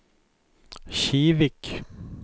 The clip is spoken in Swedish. Kivik